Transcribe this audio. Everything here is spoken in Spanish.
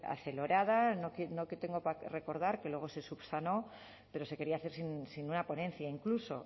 acelerada recordar que luego se subsanó pero se quería hacer sin una ponencia incluso